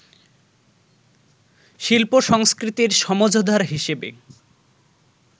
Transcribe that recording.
শিল্প-সংস্কৃতির সমঝদার হিসেবে